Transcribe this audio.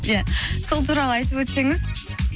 ия сол туралы айтып өтсеңіз